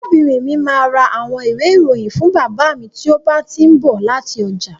Arábìnrin mi máa ra àwọn ìwé-ìròyìn fún bàbá mi tí ó bá ti ń bọ̀ láti ọjà.